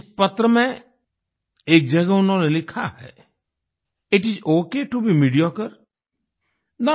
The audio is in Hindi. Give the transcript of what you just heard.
इस पत्र में एक जगह उन्होंने लिखा है it is okay to be mediocre